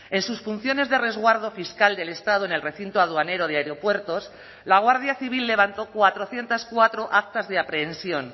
en sus funciones de resguardo fiscal del estado en el recinto aduanero de aeropuertos la guardia civil levantó cuatrocientos cuatro actas de aprehensión